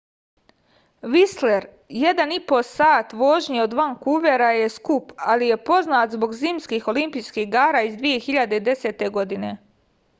вислер 1,5 сати вожње од ванкувера је скуп али је познат због зимских олимпијских игара из 2010. године